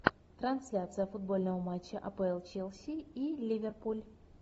трансляция футбольного матча апл челси и ливерпуль